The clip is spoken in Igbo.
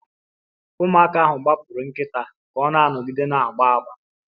Ụmụaka ahụ gbapụrụ nkịta ka ọ na-anọgide na-agba agba